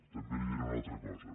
també li diré una altra cosa